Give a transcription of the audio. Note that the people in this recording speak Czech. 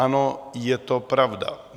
Ano, je to pravda.